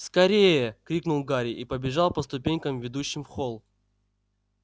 скорее крикнул гарри и побежал по ступенькам ведущим в холл